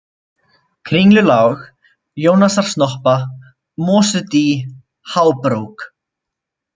Kringlulág, Jónasarsnoppa, Mosudý, Hábrók